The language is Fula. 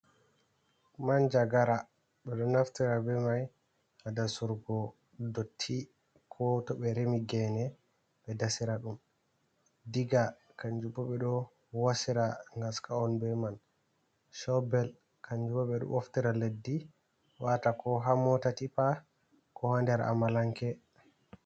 Manja gara ɓe ɗo naftira be mai ha dasurgo dotti ko to ɓe remi gene ɓe dasira ɗum, ɗiga kanjubo ɓe ɗo wasira gaska’on be man, shaubel kanjubo ɓe ɗo boftira leddi wata ko ha mota tippa ko ha nder amalanke.